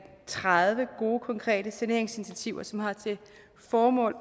tredive gode konkrete saneringsinitiativer som har til formål